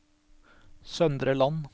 Søndre Land